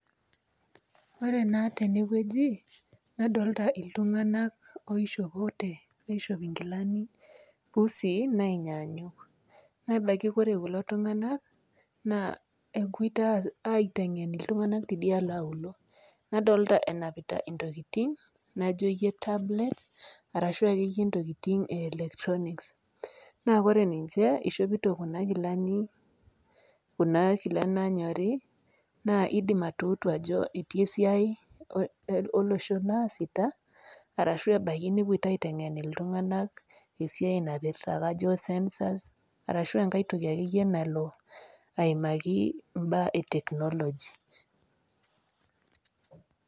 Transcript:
Ore naa teneweji nadolita iltung'ana oishopote aishop pusi nenyanyuk. Nebaki ore kulo tung'ana naa epoito aiteng'en iltung'ana tidialo aulo. Nadolita enapita intokitin naijo ke tablets arashu intokitin ee electronics naa kore ninche ishopito nkilani kuna kilanik nanyorii naa idim atutuu ajo ketii esiai olosho naasita arashu ebaki nepoito aiteng'en iltung'ana eisai naipirta census arashu enkae tokii akeyie nalo aimakii ibaa ee technology.